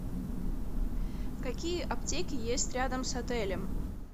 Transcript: какие аптеки есть рядом с отелем